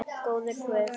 Góður guð.